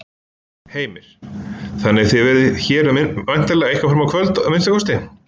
Heimir: Þannig að þið verðið hér væntanlega eitthvað fram á kvöld að minnsta kosti?